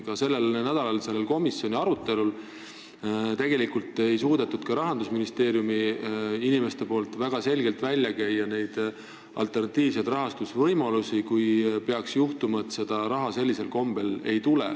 Ka sellel nädalal komisjoni arutelul tegelikult ei suutnud Rahandusministeeriumi inimesed väga selgelt välja käia alternatiivseid rahastusvõimalusi, kui peaks juhtuma, et seda raha sellisel kombel ei tule.